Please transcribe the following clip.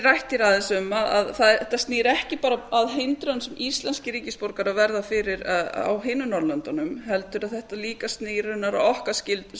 rætt aðeins um að þetta snýr ekki bara að hindrun sem íslenskir ríkisborgarar verða fyrir á hinum norðurlöndunum heldur snýr þetta raunar líka að okkar